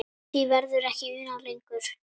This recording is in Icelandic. Því verður ekki unað lengur.